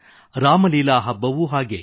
ರಾಮಲೀಲಾ ಹಬ್ಬವೂ ಹಾಗೆ